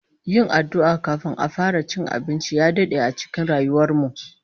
Yin addu'a kafin a fara cin abinci ya dade a cikin rayuwar mu